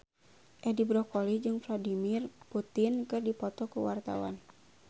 Edi Brokoli jeung Vladimir Putin keur dipoto ku wartawan